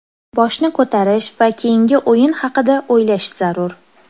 Boshni ko‘tarish va keyingi o‘yin haqida o‘ylash zarur.